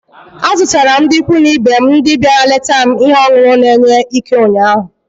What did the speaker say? Azụtara m ndị ikwu na ibe m ndị bịara leta m ihe ọṅụṅụ na-enye Ike ụnyaahụ.